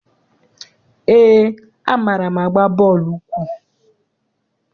Eé, amaara m agba bọọlụ ụkwụ.